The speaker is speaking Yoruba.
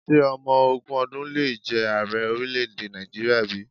Ṣé ọmọ ogún ọdún le jẹ ààrẹ orílẹ̀-èdè Nàìjíríà bí?